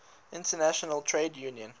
international trade union